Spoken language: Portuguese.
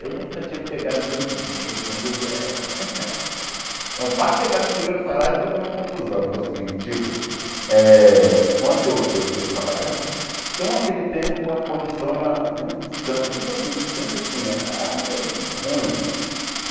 Eu nunca tinha pegado tanto dinheiro quando eu eh... não Para chegar no primeiro salário que foi uma confusão, que é o seguinte, tipo eh... Quando eu eu fui trabalhar, então naquele tempo a condução era muito distan, tipo assim, distante assim, eh era meio ruim.